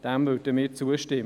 Dem würden wir zustimmen.